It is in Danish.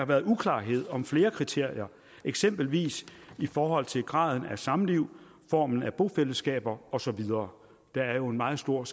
været uklarhed om flere kriterier eksempelvis i forhold til graden af samliv formen af bofællesskaber og så videre der er jo en meget stor